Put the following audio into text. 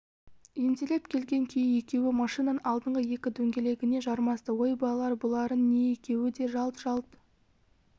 ентелеп келген күйі екеуі машинаның алдыңғы екі дөңгелегіне жармасты ой балалар бұларың не екеуі де жалт-жалт